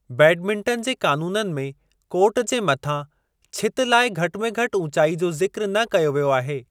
Badminton जे क़ानूननि में कोर्ट जे मथां छिति लाइ घटि में घटि ऊचाई जो ज़िक्र न कयो वियो आहे।